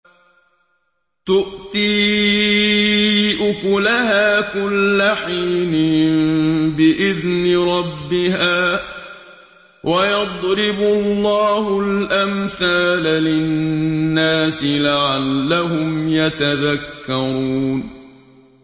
تُؤْتِي أُكُلَهَا كُلَّ حِينٍ بِإِذْنِ رَبِّهَا ۗ وَيَضْرِبُ اللَّهُ الْأَمْثَالَ لِلنَّاسِ لَعَلَّهُمْ يَتَذَكَّرُونَ